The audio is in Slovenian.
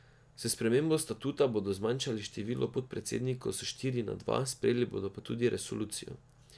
S spremembo statuta bodo zmanjšali število podpredsednikov s štiri na dva, sprejeli pa bodo tudi resolucijo.